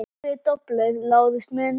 Takk fyrir doblið, Lárus minn